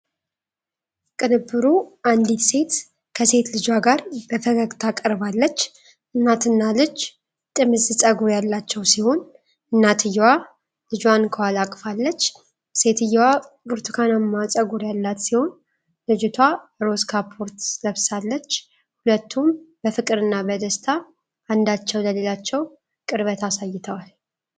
ቅንብሩ አንዲት ሴት ከሴት ልጇ ጋር በፈገግታ ቀርባለች። እናትና ልጅ ጥምዝ ፀጉር ያላቸው ሲሆን እናትየዋ ልጇን ከኋላ አቅፋለች። ሴትየዋ ብርቱካናማ ፀጉር ያላት ሲሆን፣ ልጅቷ ሮዝ ካፖርት ለብሳለች። ሁለቱም በፍቅርና በደስታ አንዳቸው ለሌላቸው ቅርበት አሳይተዋል።